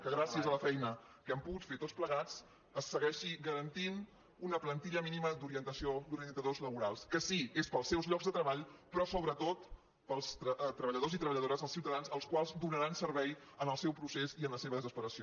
que gràcies a la feina que hem pogut fer tots plegats es segueixi garantint una plantilla mínima d’orientació d’orientadors laborals que sí és pels seus llocs de treball però sobretot pels treballadors i treballadores els ciutadans als quals donaran servei en el seu procés i en la seva desesperació